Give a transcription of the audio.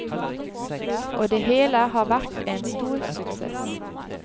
Og det hele har vært en stor suksess.